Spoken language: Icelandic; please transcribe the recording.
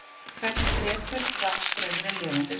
hvernig drepur rafstraumur lifandi vef